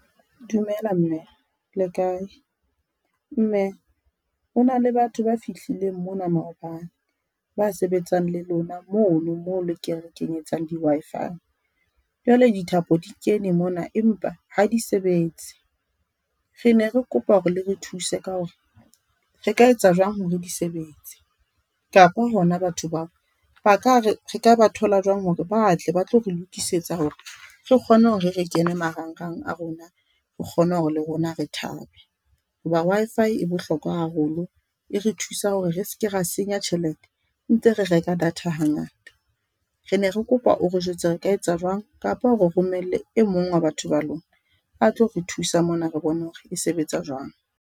Dumela Mme le kae? Mme, hona le batho ba fihlileng mona maobane ba sebetsang le lona mono moo le re kenyetsang di-Wi-Fi, jwale dithapo di kene mona empa ha di sebetse. Re ne re kopa hore le re thuse ka hore, re ka etsa jwang hore di sebetse, kapa hona batho bao, ba ka re re ka ba thola jwang hore batle ba tlo re lokisetsa hore re kgone hore re kene marangrang a rona, re kgone hore le rona re thabe, hoba Wi-Fi e bohlokwa haholo. E re thusa hore re seke ra senya tjhelete, ntse re reka data hangata. Re ne re kopa o re jwetse re ka etsa jwang kapa o re romelle e mong wa batho ba lona, a tlo re thusa mona re bone hore e sebetsa jwang.